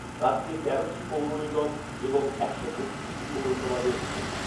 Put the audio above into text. রাজ্যে তেরোটি পৌরনিগম এবং একশো বত্রিশটি পৌরসভা রয়েছে।